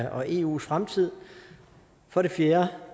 og eus fremtid for det fjerde